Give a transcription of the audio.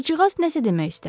Qızcığaz nəsə demək istədi.